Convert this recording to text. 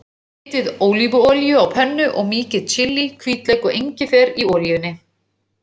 Hitið ólífuolíu á pönnu og mýkið chili, hvítlauk og engifer í olíunni.